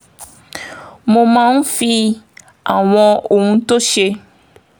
mo máa ń fi àwọn ohun tó ṣe